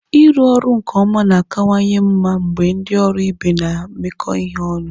Ịrụ ọrụ nke ọma na-akawanye mma mgbe ndị ọrụ ibe na-emekọ ihe ọnụ.